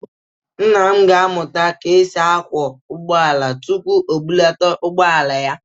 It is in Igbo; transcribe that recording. Nna m ga-amụta ka e si akwọ ụgbọala tupu o bụlata ụgbọala ya.